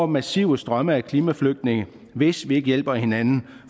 massive strømme af klimaflygtninge hvis vi ikke hjælper hinanden